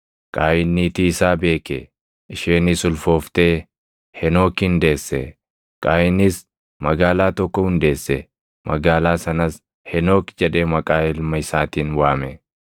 Qaayin niitii isaa beeke; isheenis ulfooftee Henookin deesse. Qaayinis magaalaa tokko hundeesse; magaalaa sanas Henook jedhee maqaa ilma isaatiin waame.